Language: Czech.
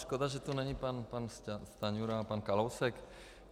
Škoda, že tu není pan Stanjura a pan Kalousek.